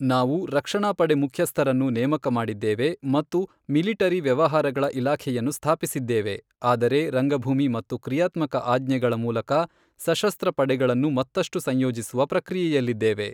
ನಾವು ರಕ್ಷಣಾ ಪಡೆ ಮುಖ್ಯಸ್ಥರನ್ನು ನೇಮಕ ಮಾಡಿದ್ದೇವೆ ಮತ್ತು ಮಿಲಿಟರಿ ವ್ಯವಹಾರಗಳ ಇಲಾಖೆಯನ್ನು ಸ್ಥಾಪಿಸಿದ್ದೇವೆ, ಆದರೆ ರಂಗಭೂಮಿ ಮತ್ತು ಕ್ರಿಯಾತ್ಮಕ ಆಜ್ಞೆಗಳ ಮೂಲಕ ಸಶಸ್ತ್ರ ಪಡೆಗಳನ್ನು ಮತ್ತಷ್ಟು ಸಂಯೋಜಿಸುವ ಪ್ರಕ್ರಿಯೆಯಲ್ಲಿದ್ದೇವೆ.